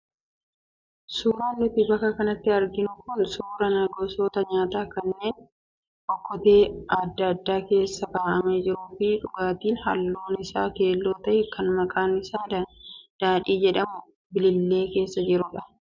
Suuraan nuti bakka kanatti arginu kun suuraa gosoota nyaataa kanneen okkotee adda addaa keessa kaa'amee jiruu fi dhugaatiin halluun isaa keelloo ta'e kan maqaan isaa daadhii jedhamu bilillee keessa jirudha.